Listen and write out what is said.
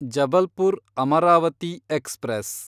Jabalpur Amravati express